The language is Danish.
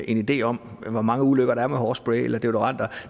en idé om hvor mange ulykker der sker med hårspray eller deodoranter